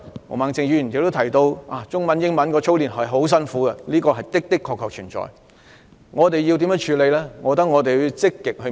毛孟靜議員剛才提到，操練中英文很辛苦，這個問題確實存在，但該如何處理這個問題？